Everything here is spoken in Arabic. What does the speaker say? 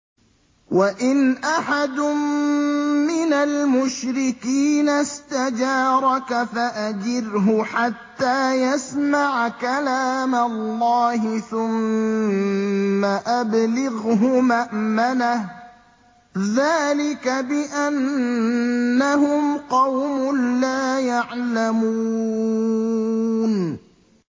وَإِنْ أَحَدٌ مِّنَ الْمُشْرِكِينَ اسْتَجَارَكَ فَأَجِرْهُ حَتَّىٰ يَسْمَعَ كَلَامَ اللَّهِ ثُمَّ أَبْلِغْهُ مَأْمَنَهُ ۚ ذَٰلِكَ بِأَنَّهُمْ قَوْمٌ لَّا يَعْلَمُونَ